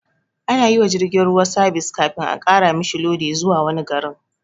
Anayiwa jirgin ruwa sabis kafin a ƙara mishi lodi zuwa wani garin